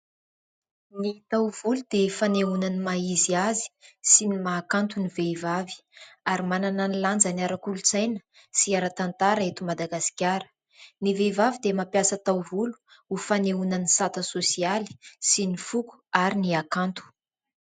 Ny taovolo dia fanehoana ny maha izy azy sy ny mahakanto ny vehivavy ary manana ny lanjany ara-kolontsaina sy ara-tantara eto Madagasikara. Ny vehivavy dia mampiasa taovolo ho fanehoana ny sata sosialy sy ny foko ary ny hakanto.